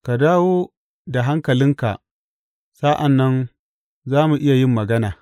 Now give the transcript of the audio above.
Ka dawo da hankalinka sa’an nan za mu iya yin magana.